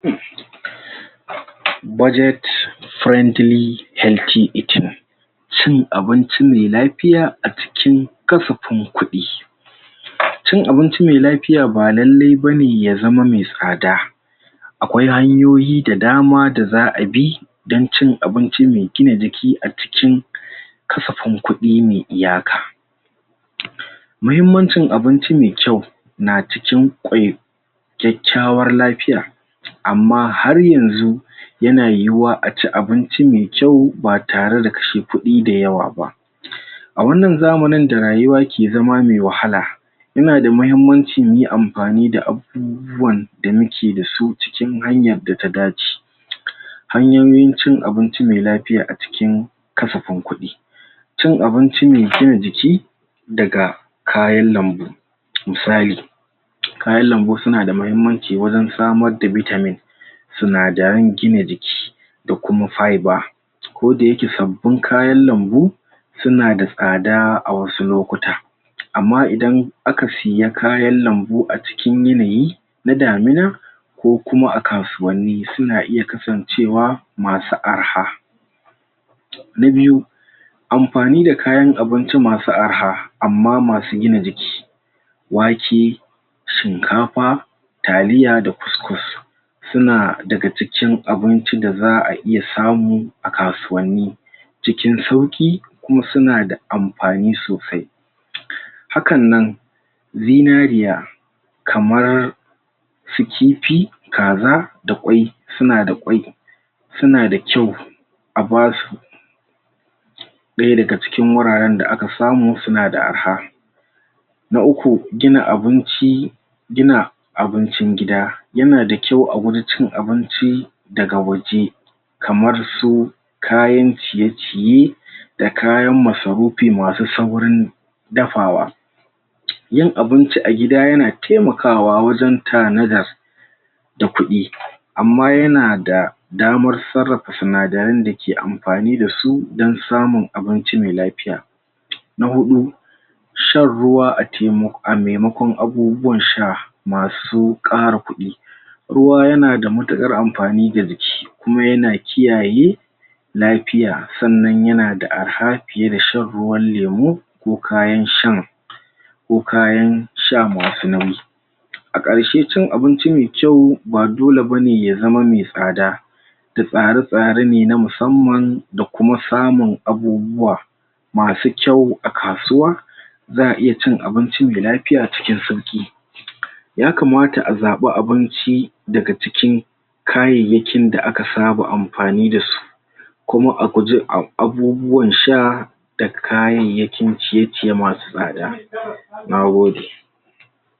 Cin abinci mai lafiya acikin kasafan kudin. Cin abinci mai lafiya ba lailai ba ne ya zama me tsada. Akwai hanyoyi da dama da za'a bi dan cin abinci me gina jiki acikin kasafan kudi me iyaka. Muhimmancin abunci me kyau, na cikin kyakyawar lafiya, amma har yanzu ya na yiwa a ci abunci me kyau ba tare da kashe kudi dayawa ba. A wannan zamanin da rayuwa ke zama me wahala, ina da mahimmanci ne amfani da abubuwan da mu ke dasu cikin hanyar da ta dace. Hanyoyin cin abunci me lafiya a cikin kasafan kudi cin abinci me gina jiki, daga kayan lambu musali, kayan lambu su na da mahimmanci wurin samar da vitamin sunadarin gina jiki, da kuma fibre. Ko da ya ke sabbin kayan lambu su na da tsada a wasu lokuta amma idan aka siya kayan lambu a cikin yanayi na damina ko kuma a kasuwani su na iya kasancewa masu arha. Na biyu, amfani da kayan abinci masu arha amma masu gina jiki. Wake, shikafa, taliya da cous-cous. Su na da ga cikin abunci da za'a iya samu a kasuwani cikin sauki kuma suna da amfani sosai. Hakan nan zinariya kamar su kifi, kaza, da kwai, su na da kwai. Su na da kyau a ba su da ya da ga cikin wuraren da aka samu suna da arha. Na uku, gina abunci, gina abuncin gida ya na da kyau a gurin cin abinci da ga waje kamar su kayan ciye-ciye da kayan masarufi, masu saurin dafawa. Yin abunci a gida ya na taimakawa wajen ta na da da kudi. Amma ya na da damar tsarafa sunadarin da ke amfani da su dan samun abunci me lafiya. Na hudu shan ruwa a a maimakon abubuwan sha masu kara kudi. Ruwa ya na da matukar amfani da jiki kuma ya na kiyaye lafiya tsannan ya na da arha fiye da shan ruwam lemu, ko kayan shan ko kayan sha masu nauyi. A karshe, cin abunci me kyau ba dole bane ya zama me sada da tsare-tsare ne, na musamman da kuma samun abubuwa masu kyau a kasuwa, za'a iya cin abunci me lafiya cikin sauki. Ya kamata a zaba abunci da ga cikin kayayakin da a ka saba amfani da su kuma abubuwan sha da kayayakin ciye-ciye masu sada. Nagode.